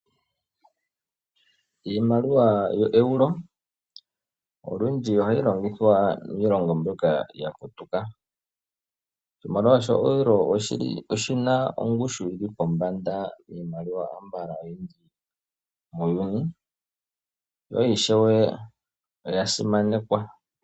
Iimaliwa yo Euro olundji ohayi longithwa miilongo mbyoka ya putuka molwaashoka o Euro oyina ongushu yili pombanda kiimaliwa ambala iikwawo muuyun, ishewe oya simanekwa.